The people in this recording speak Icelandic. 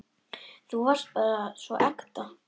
Þú varst bara svo ekta.